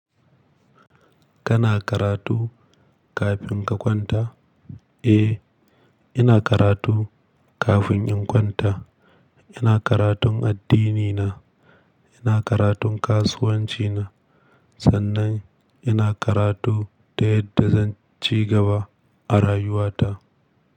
Kana karatu kafin ka kwanta? Eh, ina karatu kafin in kwanta. Ina karatun addinina, ina karatun kasuwancina sannan ina karatu ta yadda zan ci gaba a rayuwata.